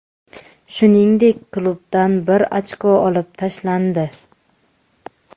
Shuningdek, klubdan bir ochko olib tashlandi.